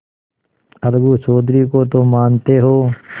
अलगू चौधरी को तो मानते हो